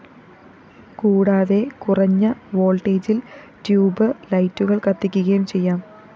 കൂടാതെ കുറഞ്ഞ വോള്‍ട്ടേജില്‍ ട്യൂബ്‌ ലൈറ്റുകള്‍ കത്തിക്കുകയും ചെയ്യാം